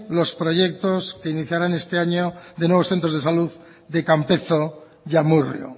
los proyectos que iniciarán este año de nuevos centros de salud de campezo y amurrio